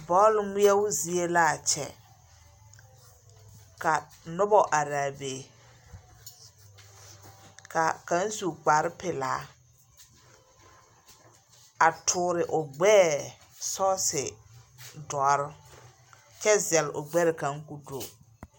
Bͻle ŋmeԑbo zie laa kyԑ. Ka noba araa be. Ka kaŋ su kpare pelaa a toore o gbԑԑ sͻͻse dͻre, kyԑ zԑle o gbԑre kaŋ koo do.